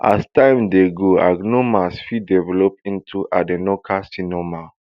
as time dey go adenoma fit develop into adenocarcinoma